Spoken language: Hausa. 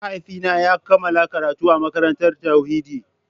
Mahaifina ya kammala karatu a makarantar tauhidi.